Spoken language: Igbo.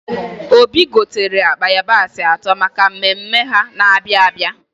Obi gotere akpa ịyabasị atọ maka mmemme ha na-abịa abịa